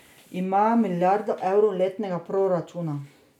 Ima milijardo evrov letnega proračuna.